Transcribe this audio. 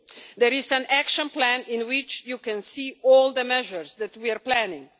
There is an action plan in which you can see all the measures that we are planning.